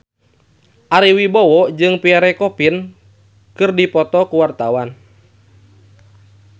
Ari Wibowo jeung Pierre Coffin keur dipoto ku wartawan